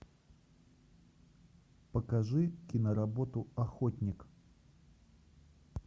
покажи киноработу охотник